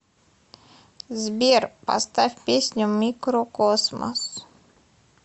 сбер поставь песню микрокосмос